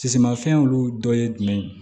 Sisimafɛn olu dɔ ye jumɛn ye